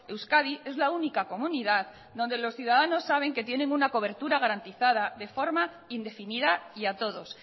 euskadi es la única comunidad donde los ciudadanos saben que tiene una cobertura garantizada de forma indefinida y a todos